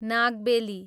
नागबेली